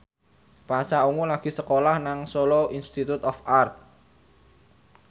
Pasha Ungu lagi sekolah nang Solo Institute of Art